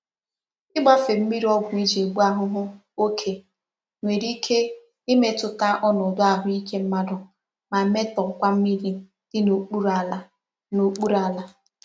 Igbafe mmiri ogwu e ji egbu ahuhu oke nwere ike imetuta onodu ahuike mmadu ma metokwa mmiri di n'okpuru ala. n'okpuru ala.